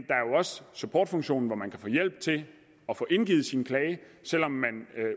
supportfunktion hvor man kan få hjælp til at få indgivet sin klage selv om man